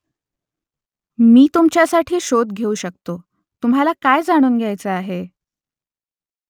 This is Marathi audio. मी तुमच्यासाठी शोध घेऊ शकतो तुम्हाला काय जाणून घ्यायचं आहे ?